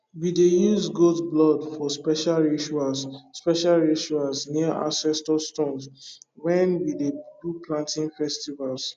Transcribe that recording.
we dey use goat blood for special rituals special rituals near ancestor stones when we dey do planting festivals